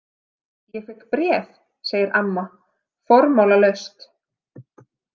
Ég fékk bréf, segir amma formálalaust.